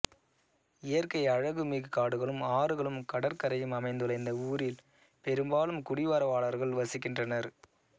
இயற்கை அழகு மிகு காடுகளும் ஆறுகளும் கடற்கரையும் அமைந்துள்ள இந்த ஊரில் பெரும்பாலும் குடிவரவாளர்கள் வசிக்கின்றனர்